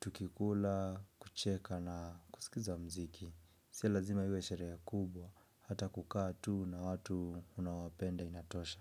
tukikula, kucheka na kusikiza mziki. Sio lazima iwe sherehe kubwa. Hata kukaa tu na watu unaowapenda inatosha.